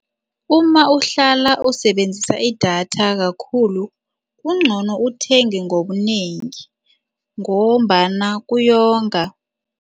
Uma uhlala usebenzisa idatha kakhulu, kungcono uthenge ngobunengi ngombana kuyonga.